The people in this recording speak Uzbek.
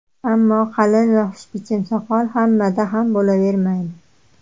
Ammo, qalin va xushbichim soqol hammada ham bo‘lavermaydi.